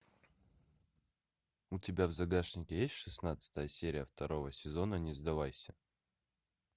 у тебя в загашнике есть шестнадцатая серия второго сезона не сдавайся